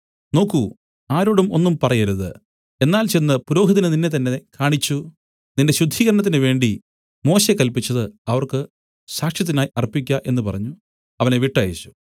നോക്കൂ ആരോടും ഒന്നും പറയരുത് എന്നാൽ ചെന്ന് പുരോഹിതന് നിന്നെത്തന്നെ കാണിച്ചു നിന്റെ ശുദ്ധീകരണത്തിന് വേണ്ടി മോശെ കല്പിച്ചത് അവർക്ക് സാക്ഷ്യത്തിനായി അർപ്പിക്ക എന്നു പറഞ്ഞു അവനെ വിട്ടയച്ചു